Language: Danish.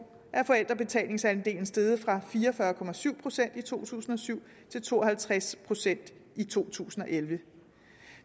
er forældrebetalingsandelen steget fra fire og fyrre procent i to tusind og syv til to og halvtreds procent i to tusind og elleve